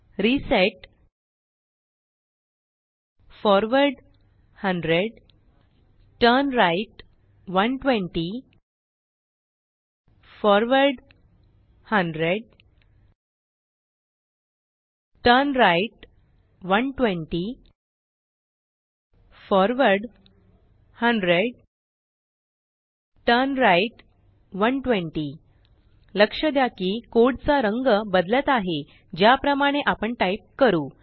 reset forward 100 turn right 120 forward 100 turn right 120 forward 100 turn right 120 लक्ष द्या कि कोडचा रंग बदलत आहेज्याप्रमाणेआपण टाईप करू